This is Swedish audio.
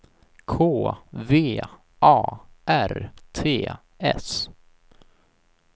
K V A R T S